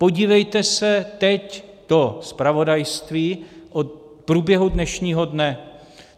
Podívejte se teď do zpravodajství o průběhu dnešního dne.